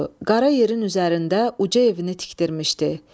Qara yerin üzərində uca evini tikdirmişdi.